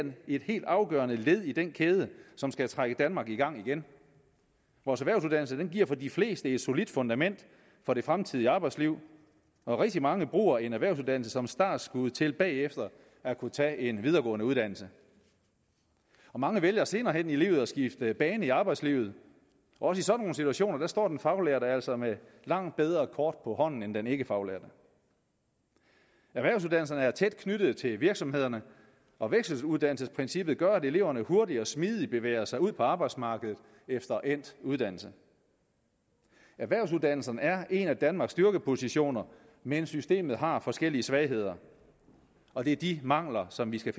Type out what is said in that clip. et helt afgørende led i den kæde som skal trække danmark i gang igen vores erhvervsuddannelse giver for de fleste et solidt fundament for det fremtidige arbejdsliv og rigtig mange bruger en erhvervsuddannelse som startskud til bagefter at kunne tage en videregående uddannelse mange vælger senere hen i livet at skifte bane i arbejdslivet også i sådanne situationer står den faglærte altså med langt bedre kort på hånden end den ikkefaglærte erhvervsuddannelserne er tæt knyttet til virksomhederne og vekseluddannelsesprincippet gør at eleverne hurtigt og smidigt bevæger sig ud på arbejdsmarkedet efter endt uddannelse erhvervsuddannelserne er en af danmarks styrkepositioner men systemet har forskellige svagheder og det er de mangler som vi skal